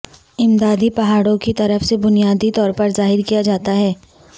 امدادی پہاڑوں کی طرف سے بنیادی طور پر ظاہر کیا جاتا ہے